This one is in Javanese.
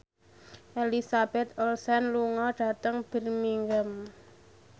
Elizabeth Olsen lunga dhateng Birmingham